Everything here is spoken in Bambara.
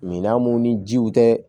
Minan mun ni jiw tɛ